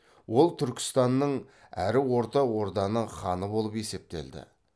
ол түркістанның әрі орта орданың ханы болып есептелді